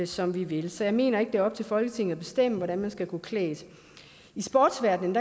som vi vil så jeg mener ikke det er op til folketinget at bestemme hvordan man skal gå klædt i sportsverdenen